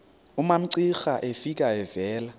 umamcira efika evela